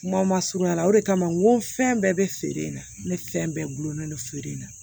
Kumaw ma surunya o de kama n ko fɛn bɛɛ bɛ feere in na ne fɛn bɛɛ gulonnen don feere in na